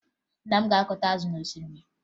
Nna m ga-akọta azụ n'osimmiri